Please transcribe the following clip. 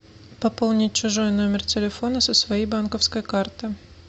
пополнить чужой номер телефона со своей банковской карты